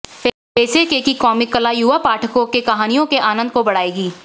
फेंसेके की कॉमिक कला युवा पाठकों के कहानियों के आनंद को बढ़ाएगी